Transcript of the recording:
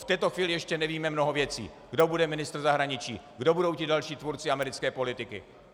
V této chvíli ještě nevíme mnoho věcí - kdo bude ministr zahraničí, kdo budou ti další tvůrci americké politiky.